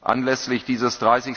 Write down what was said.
Anlässlich dieses